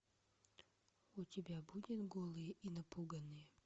у тебя будет голые и напуганные